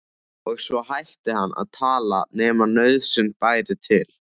Og svo hætti hann að tala nema nauðsyn bæri til.